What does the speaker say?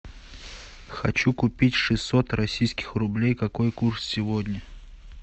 хочу купить шестьсот российских рублей какой курс сегодня